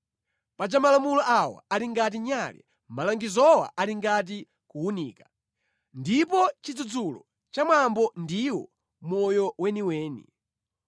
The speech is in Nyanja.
Paja malamulo awa ali ngati nyale, malangizowa ali ngati kuwunika, ndipo chidzudzulo cha mwambo ndiwo moyo weniweni,